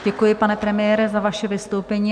Děkuji, pane premiére, za vaše vystoupení.